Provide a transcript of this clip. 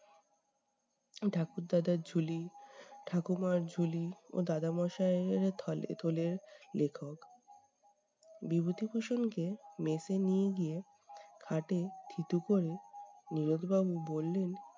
ঠাকুর দাদার ঝুলি, ঠাকুমার ঝুলি ও দাদা মশাইয়ের থলে থলের লেখক। বিভূতিভূষণকে mess এ নিয়ে গিয়ে খাটে থিতু করে নীরদ বাবু বললেন